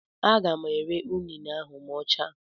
Aga m ere unine ahụ ma ọ chaa.